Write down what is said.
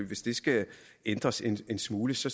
hvis det skal ændres en smule så